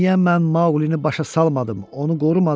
Axı niyə mən Maqqlini başa salmadım, onu qorumadım?